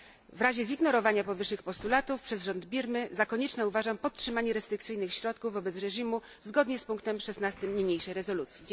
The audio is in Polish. W razie zignorowania powyższych postulatów przez rząd Birmy za konieczne uważam podtrzymanie restrykcyjnych środków wobec reżimu zgodnie z punktem 16 niniejszej rezolucji.